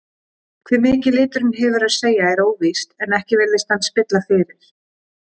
Hve mikið liturinn hefur að segja er óvíst en ekki virðist hann spilla fyrir.